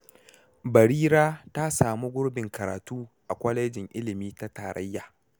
Barira ta sami gurbin karatu a kwalejin ilimi ta tarayya.